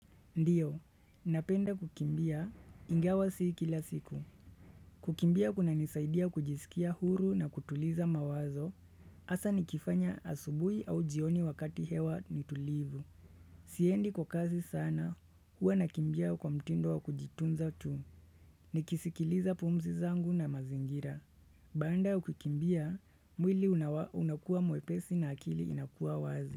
Ndiyo, napenda kukimbia ingawa si kila siku. Kukimbia kunanisaidia kujisikia huru na kutuliza mawazo, hasa nikifanya asubuhi au jioni wakati hewa ni tulivu. Siendi kwa kasi sana, huwa nakimbia kwa mtindo wa kujitunza tu. Nikisikiliza pumzi zangu na mazingira. Baada ya kukimbia, mwili unakua mwepesi na akili inakua wazi.